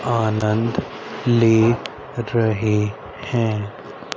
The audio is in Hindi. आनंद ले रहे हैं।